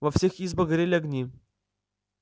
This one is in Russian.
во всех избах горели огни